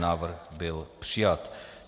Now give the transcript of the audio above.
Návrh byl přijat.